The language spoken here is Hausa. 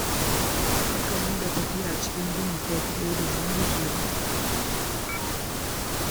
Kar ka riƙa tafiya cikin duhu kai kaɗai domin guje wa ɓarayi.